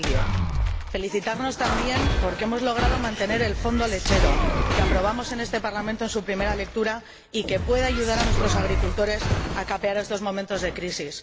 2010. Felicitarnos, también, porque hemos logrado mantener el Fondo lechero que aprobamos en este Parlamento en su primera lectura y que puede ayudar a nuestros agricultores a capear estos momentos de crisis.